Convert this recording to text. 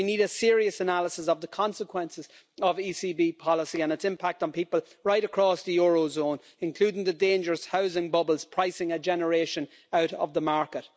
We need a serious analysis of the consequences of ECB policy and its impact on people right across the eurozone, including the dangerous housing bubbles pricing a generation out of the market.